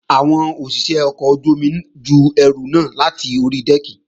Àwọn òṣìṣé ọkọ̀ ojú-omi ju ẹrù náà láti ori dẹ́ẹ̀kì